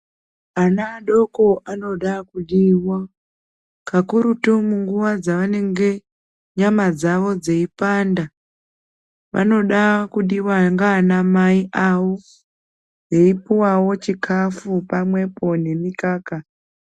Ana adoko anoda kudiwa pakurutu munguwa dzaanenge eizwa nyama dzawo dzeipanda. Vanoda kudiwa ndiana mai avo veipuwawo chikafu nemikaka